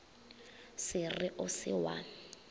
se re o se wa